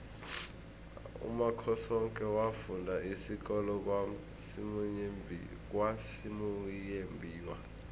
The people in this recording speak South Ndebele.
umakhosoke wafunda isikolo kwasimuyembiwa